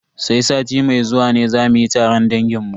Sai sati mai zuwa ne za mu yi taron dangin mu.